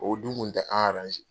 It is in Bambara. O dun kun tɛ an